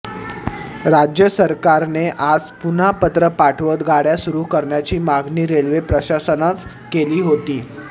राज्य सरकारने आज पुन्हा पत्र पाठवत गाड्या सुरू करण्याची मागणी रेल्वे प्रशासनानं केली होती